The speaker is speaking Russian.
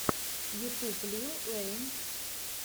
ютюб лил уэйн